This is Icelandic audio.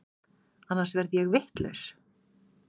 Annars verð ég vitlaus.